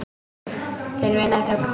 Þeir vinna í þögn.